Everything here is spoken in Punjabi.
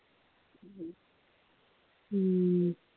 ਹਮ